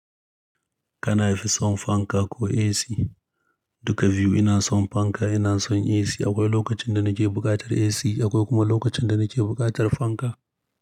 Kana fi son fanka ko AC? Duka biyu ina son fanka, ina son AC. Akwai lokacin da nake buƙatar AC, akwai kuma lokacin da nake buƙatar fanka.